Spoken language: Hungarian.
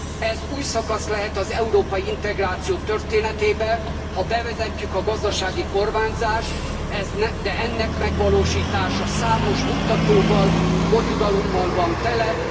Ez új szakasz lehet az európai integráció történetében, ha bevezetjük a gazdasági kormányzást, de ennek megvalósítása számos buktatóval, bonyodalommal van tele.